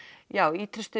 já